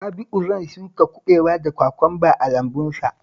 Rabi'u zan shuka kabewa da kwakwamba a lambunsa